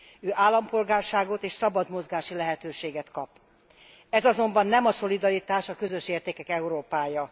Ő állampolgárságot és szabad mozgási lehetőséget kap. Ez azonban nem a szolidaritás, a közös értékek Európája.